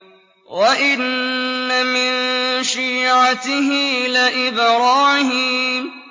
۞ وَإِنَّ مِن شِيعَتِهِ لَإِبْرَاهِيمَ